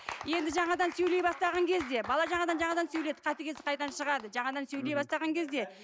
енді жаңадан сөйлей бастаған кезде бала жаңадан жаңадан сөйледі қатыгездік қайдан шығады жаңадан сөйлей бастаған кезде